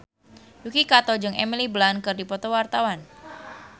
Yuki Kato jeung Emily Blunt keur dipoto ku wartawan